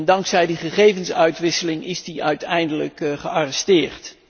Dankzij die gegevensuitwisseling is die uiteindelijk gearresteerd.